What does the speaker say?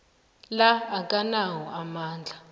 la akanawo amandla